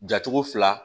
Jacogo fila